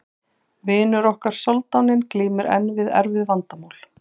Vinur okkar soldáninn glímir enn við erfið vandamál.